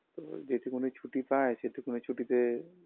তো যেটুকুনি ছুটি পায় সেটুকুনি ছুটিতে